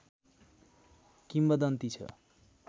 किम्वदन्ती छ